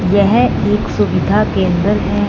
यह एक सुविधा केंद्र है।